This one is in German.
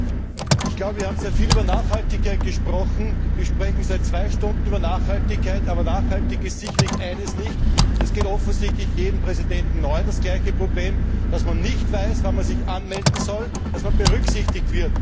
Herr Präsident! Ich glaube, wir haben sehr viel über Nachhaltigkeit gesprochen, wir sprechen seit zwei Stunden über Nachhaltigkeit, aber nachhaltig ist sicherlich eines nicht da gibt es offensichtlich bei jedem Präsidenten genau das gleiche Problem dass man nicht weiß, wann man sich anmelden soll, damit man berücksichtigt wird.